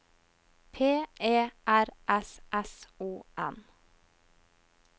P E R S S O N